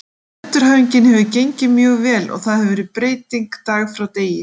Endurhæfingin hefur gengið mjög vel og það hefur verið breyting dag frá degi.